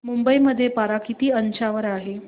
मुंबई मध्ये पारा किती अंशावर आहे